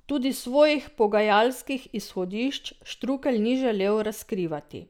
Tudi svojih pogajalskih izhodišč Štrukelj ni želel razkrivati.